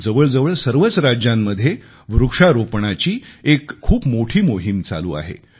जवळजवळ सर्वच राज्यांमध्ये वृक्षारोपणाची एक खूप मोठी मोहीम चालू आहे